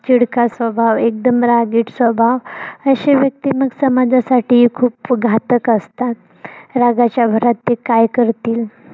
चिडका स्वभाव एकदम रंगीट स्वभाव अशे व्यक्ती मग समाजासाठी ही खूप घातक असतात. रागाच्या भारत ते काय करतील